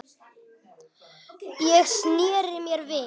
Ég sneri mér við.